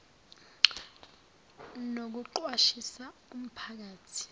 nokuqwashisa umpha kathi